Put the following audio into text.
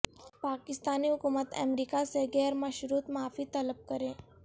پاکستانی حکومت امریکہ سے غیر مشروط معافی طلب کرے